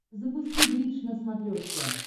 запусти бридж на смотрешке